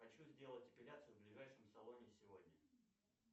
хочу сделать эпиляцию в ближайшем салоне сегодня